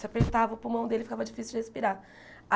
Se apertava o pulmão dele, ficava difícil de respirar.